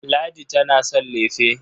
Ladi tana son lefe.